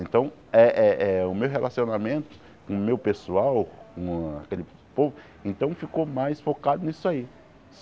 Então eh eh eh o meu relacionamento com o meu pessoal, com aquele povo, então ficou mais focado nisso aí.